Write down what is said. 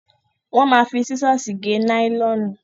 Wọn ma fi sísọ̀sì gé náílọ̀nù.